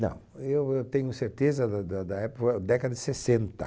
Não, eu eu tenho certeza do do da época, década de sessenta